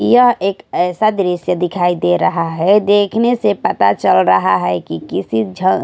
यह एक ऐसा दृश्य दिखाई दे रहा है देखने से पता चल रहा है कि किसी झ--